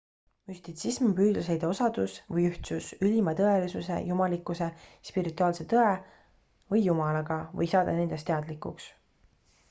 müstitsism on püüdlus leida osadus või ühtsus ülima tõelisuse jumalikkuse spirituaalse tõe või jumalaga või saada nendest teadlikuks